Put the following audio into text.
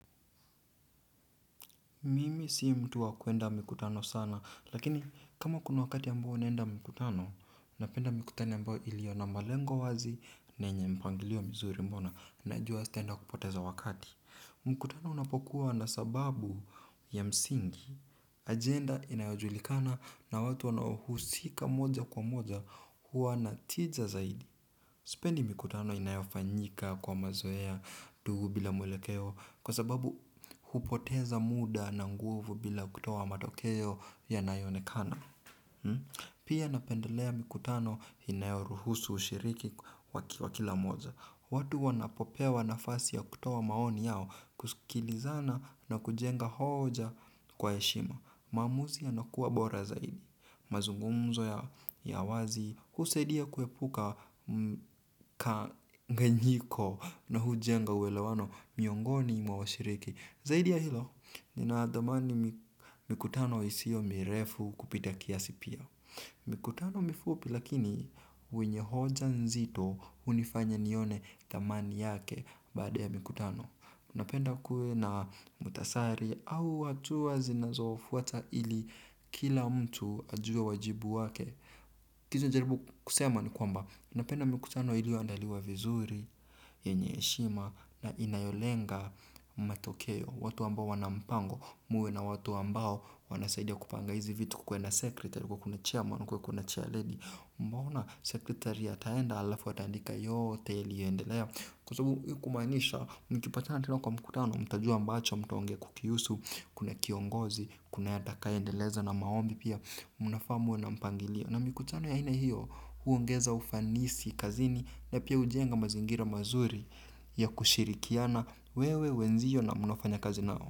Mimi si mtu wa kuenda mikutano sana lakini kama kuna wakati ambao naenda mkutano, napenda mikutano ambayo iliyo na malengo wazi na yenye mpangilio mizuri ambayo najua sitaenda kupoteza wakati. Mkutano unapokuwa na sababu ya msingi, ajenda inayojulikana na watu wanaohusika moja kwa moja huwa na tija zaidi. Sipendi mikutano inayofanyika kwa mazoea tu bila mwelekeo kwa sababu hupoteza muda na nguvu bila kutowa matokeo yanayo onekana. Pia napendelea mikutano inayoruhusu ushiriki wa kila mmoja. Watu wanapopewa nafasi ya kutoa maoni yao kusikilizana na kujenga hoja kwa heshima. Maamuzi inakuwa bora zaidi. Mazungumzo ya wazi husaidia kuepuka ka nganyiko na hujenga uelewano miongoni mwa washiriki zaidi ya hilo, nina ya dhamani mikutano isiyo mirefu kupita kiasi pia. Mikutano mifupi lakini wenye hoja nzito hunifanya nione thamani yake baada ya mikutano, napenda kuwe na mtasari au hatua zinazofuata ili kila mtu ajue wajibu wake. Kitu najaribu kusema ni kwamba napenda mikutano iliyo andaliwa vizuri yenye heshima na inayolenga matokeo watu ambao wana mpango muwe na watu ambao wanasaidia kupanga hizi vitu. Kukue na secretary kukue na chairman kukue kuna chair lady naona secretary ataenda alafu ataandika yote iliyo endelea. Kwa sababu kumaanisha mkipatana tena kwa mkutano mtajua ambacho mtaongea kukihusu, kuna kiongozi, kuna atakaye endeleza na maombi pia, munafaa muwe na mpangilio. Na mkutano ya aina hiyo huongeza ufanisi kazini na pia hujenga mazingira mazuri ya kushirikiana wewe wenzio na munaofanya kazi nao.